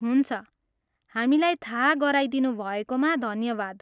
हुन्छ, हामीलाई थाहा गराइदिनु भएकोमा धन्यवाद।